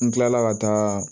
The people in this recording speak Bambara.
N kilala ka taa